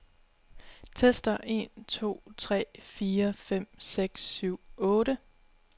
Tester en to tre fire fem seks syv otte.